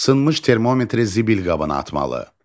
Sınmış termometri zibil qabına atmalı.